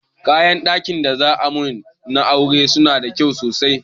Kayan ɗakin da za'a mun da aure na sunyi tsada sosai.